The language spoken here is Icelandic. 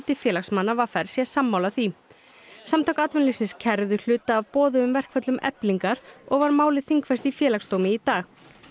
félagsmanna v r sé sammála því samtök atvinnulífsins kærðu hluta af boðuðum verkföllum Eflingar og var málið þingfest í Félagsdómi í dag